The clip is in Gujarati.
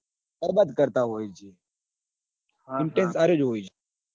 બરબાદ કરતા હોય છ intentions આર્યો જ હોય છે.